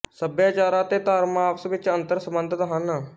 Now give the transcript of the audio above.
ਸਭਿਆਚਾਰ ਅਤੇ ਧਰਮ ਆਪਸ ਵਿੱਚ ਅੰਤਰ ਸੰਬੰਧਤ ਹਨ